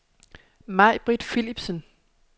Majbritt Philipsen